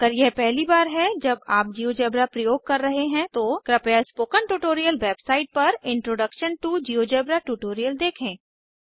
अगर यह पहली बार है जब आप जिओजेब्रा प्रयोग कर रहे हैं तो कृपया स्पोकन ट्यूटोरियल वेबसाइट पर इंट्रोडक्शन टो जियोजेब्रा ट्यूटोरियल देखे